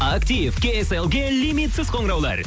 актив кейселге лимитсіз қоңыраулар